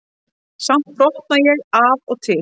Samt brotna ég af og til.